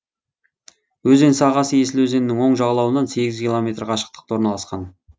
өзен сағасы есіл өзенінің оң жағалауынан сегіз километр қашықтықта орналасқан